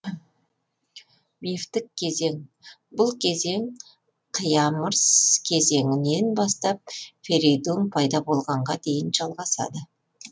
мифтік кезеңбұл кезең қиамырс кезеңінен бастап ферейдун пайда болғанға дейін жалғасады